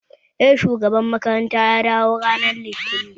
Eh, shugaban makarantar ya dawo ranar Litinin